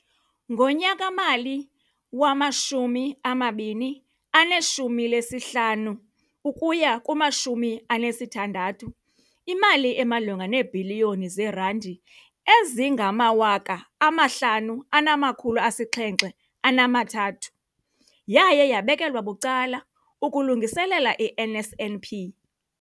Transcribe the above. Ngonyaka-mali wama-2015, 16, imali emalunga neebhiliyoni zeerandi eziyi-5 703 yaye yabekelwa bucala ukulungiselela i-NSNP.